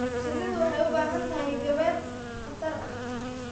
Shinnidu waxay u baahan tahay gabaad khatar ah.